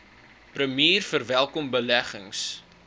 premier verwelkom beleggings